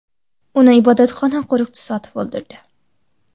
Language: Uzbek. Uni ibodatxona qo‘riqchisi otib o‘ldirdi.